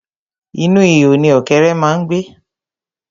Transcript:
Inú ihò ni ọ̀kẹ́ré má ń gbé.